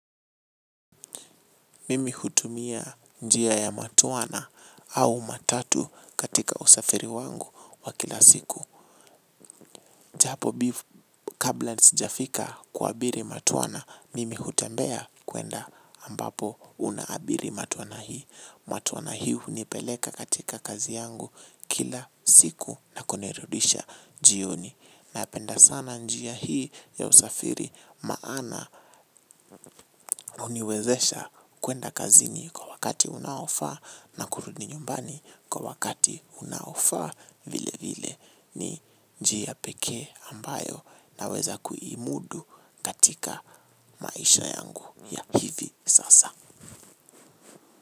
Mimi hutumia njia ya matwana au matatu katika usafiri wangu wa kila siku. Japo kabla sijafika kuabiri matwana. Mimi hutembea kuenda ambapo unaabiri matwana hii. Matwana hii hunipeleka katika kazi yangu kila siku na kunirudisha jioni. Napenda sana njia hii ya usafiri maana huniwezesha kuenda kazinii. Kwa wakati unaofaa na kurudi nyumbani kwa wakati unaofaa vile vile ni njia pekee ambayo naweza kuimudu katika maisha yangu ya hivi sasa.